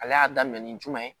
Ale y'a daminɛ ni jumɛn ye